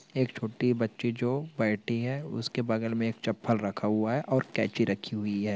एक छोटी बच्ची जो बैठी हैं उसके बगल में चप्पल रखा हुआ हैं और कैंची रखी हुई हैं।